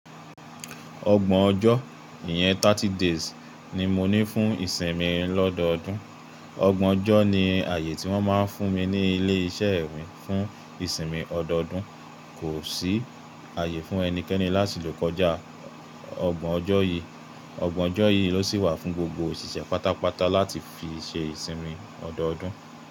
Ọgbọ̀n ọjọ́, ìyẹn thirty days ni mo ní fún ìsinmi ọdọọdún. Ọgbọ̀n ọjọ́ ni ààyè tí wọ́n máa ń fún mi ní ilé iṣẹ́ mi fún ìsinmi ọdọọdún. Kò sí ààyè fún ẹnikẹ́ni láti lò kọjá ọgbọ̀n ọjọ́ yìí. Ọgbọ̀n ọjọ́ yìí ló sì wà fún gbogbo òṣìṣẹ́ pátápátá láti fi ṣe ìsinmi ọdọọdún.